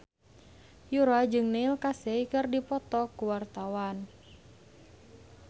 Yura jeung Neil Casey keur dipoto ku wartawan